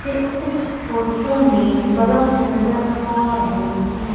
मुझे इस फोटो में बर्फ नजर आ रहे हैं।